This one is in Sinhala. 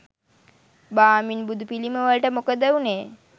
බාමින් බුදු පිළිමවලට මොකද උනේ